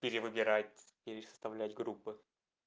перевыбирать или составлять группы